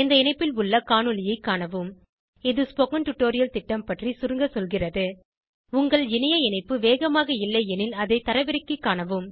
இந்த இணைப்பில் உள்ள காணொளியைக் காணவும் இது ஸ்போகன் டுடோரியல் திட்டம் பற்றி சுருங்க சொல்கிறது உங்கள் இணைய இணைப்பு வேகமாக இல்லையெனில் அதை தரவிறக்கிக் காணவும்